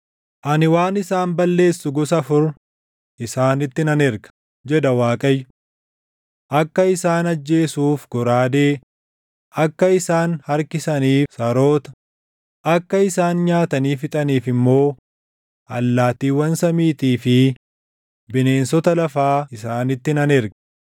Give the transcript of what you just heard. “Ani waan isaan balleessu gosa afur isaanitti nan erga” jedha Waaqayyo. “Akka isaan ajjeesuuf goraadee, akka isaan harkisaniif saroota, akka isaan nyaatanii fixaniif immoo allaattiiwwan samiitii fi bineensota lafaa isaanitti nan erga.